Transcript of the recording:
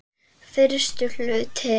Fyrsti hluti